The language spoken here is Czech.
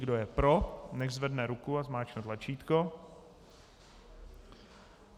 Kdo je pro, nechť zvedne ruku a zmáčkne tlačítko.